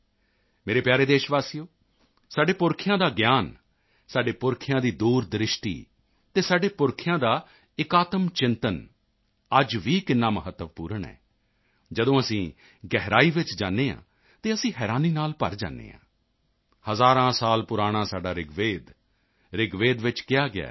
ਮੇਰੇ ਪਿਆਰੇ ਦੇਸ਼ਵਾਸੀਓ ਸਾਡੇ ਪੁਰਖਿਆਂ ਦਾ ਗਿਆਨ ਸਾਡੇ ਪੁਰਖਿਆਂ ਦੀ ਦੂਰਦ੍ਰਿਸ਼ਟੀ ਅਤੇ ਸਾਡੇ ਪੁਰਖਿਆਂ ਦਾ ਇਕਾਤਮਚਿੰਤਨ ਅੱਜ ਵੀ ਕਿੰਨਾ ਮਹੱਤਵਪੂਰਨ ਹੈ ਜਦੋਂ ਅਸੀਂ ਗਹਿਰਾਈ ਚ ਜਾਂਦੇ ਹਾਂ ਤਾਂ ਅਸੀਂ ਹੈਰਾਨੀ ਨਾਲ ਭਰ ਜਾਂਦੇ ਹਾਂ ਹਜ਼ਾਰਾਂ ਸਾਲ ਪੁਰਾਣਾ ਸਾਡਾ ਰਿਗਵੇਦ ਰਿਗਵੇਦ ਵਿੱਚ ਕਿਹਾ ਗਿਆ ਹੈ